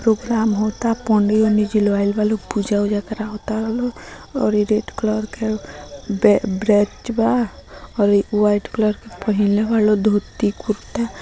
Programme होअता पंडी उन्डी जी लोग आइल बालो पूजा उजा करावाताना और इ रेड कलर के ब्रैंच बा और इ व्हाइट कलर के पहिनले बा धोती कुर्ता।